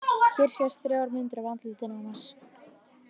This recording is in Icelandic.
Hér sjást þrjár myndir af andlitinu á Mars.